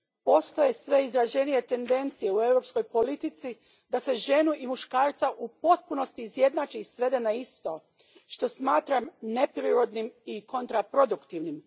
Postoje sve izraženije tendencije u europskoj politici da se ženu i muškarca u potpunosti izjednači i svede na isto, što smatram neprirodnim i kontraproduktivnim.